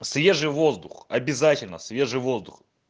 свежий воздух обязательно свежий воздух